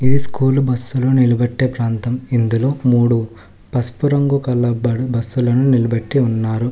ఇది స్కూలు బస్సులు నిలబెట్టే ప్రాంతం ఇందులో మూడు పసుపు రంగు గల బడ్ బస్సులను నిలబెట్టి ఉన్నారు.